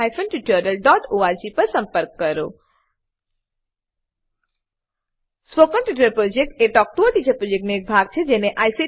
spoken tutorial project talk to a teacher પ્રોજેક્ટનો એક ભાગ છે